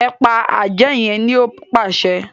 e pa Ajé yén ní o pàṣẹ